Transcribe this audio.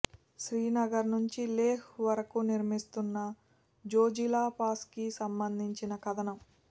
శ్రీనగర్ నుంచి లెహ్ వరకు నిర్మిస్తున్న జోజిలా పాస్కి సంబంధించిన కథనం